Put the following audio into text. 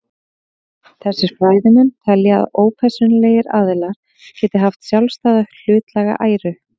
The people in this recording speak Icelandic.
Þessir fræðimenn telja að ópersónulegir aðilar geti haft sjálfstæða hlutlæga æru.